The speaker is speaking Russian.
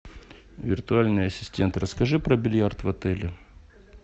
виртуальный ассистент расскажи про бильярд в отеле